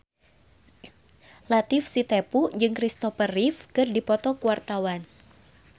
Latief Sitepu jeung Kristopher Reeve keur dipoto ku wartawan